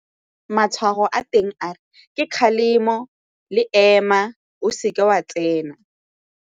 Matshwao a teng a ke kgalemo le ema, o seke wa tsena.